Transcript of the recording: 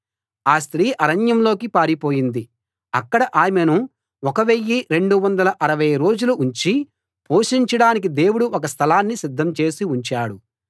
ఆ స్త్రీ అరణ్యంలోకి పారిపోయింది అక్కడ ఆమెను 1 260 రోజులు ఉంచి పోషించడానికి దేవుడు ఒక స్థలాన్ని సిద్ధం చేసి ఉంచాడు